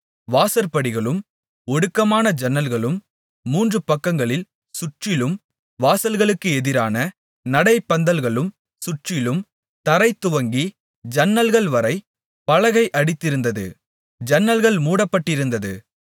வாசற்படிகளும் ஒடுக்கமான ஜன்னல்களும் மூன்று பக்கங்களில் சுற்றிலும் வாசல்களுக்கு எதிரான நடைபந்தல்களும் சுற்றிலும் தரை துவங்கி ஜன்னல்கள் வரை பலகை அடித்திருந்தது ஜன்னல்கள் மூடப்பட்டிருந்தது